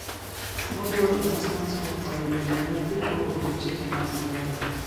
Moluor onesmas okwayo joriemb apiko olu chike mag ndara